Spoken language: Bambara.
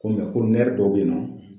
Ko ko dɔw bɛ yen nɔ